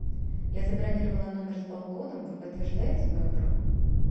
я забронировала номер с балконом вы подтверждаете мою бронь